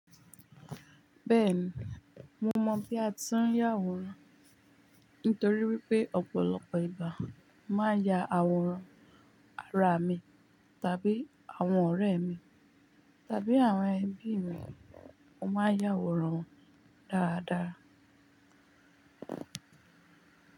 Bẹ́ẹ̀ni, mo mọ̀ bí a ti ń ya àwòrán nítorí wípé ọ̀pọ̀lọpọ̀ ìgbà máa ya àwòrán ara mi tàbí àwọn ọ̀rẹ́ mi tàbí àwọn ẹbí mi. Mo máa ń ya àwòrán wọn dáradára.